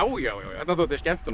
já já þetta þótti skemmtun og